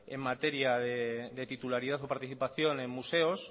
en materia de titularidad o participación en museos